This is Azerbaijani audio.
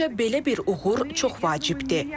Məncə, belə bir uğur çox vacibdir.